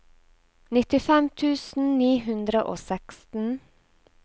nittifem tusen ni hundre og seksten